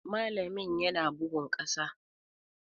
Malamin yana bugun ƙasa.